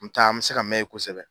N me taa an me se ka mɛ yen kosɛbɛ